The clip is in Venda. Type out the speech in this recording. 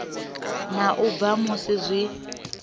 na u bva musi zwi